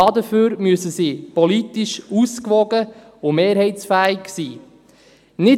Dafür müssen sie politisch ausgewogen und mehrheitsfähig sein.